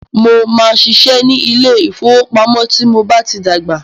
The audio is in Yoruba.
Mó máà ṣiṣẹ́ ní ilé ìfọwọ́pamo tí mo bá tí dàgbà.